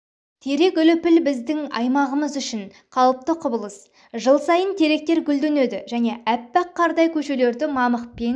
терек үліпіл біздің аймағымыз үшін қалыпты құбылыс жыл сайын теректер гүлденеді және аппақ қардай көшелерді мамықпен